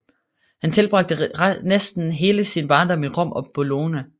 Han tilbragte næsten hele sin barndom i Rom og Bologna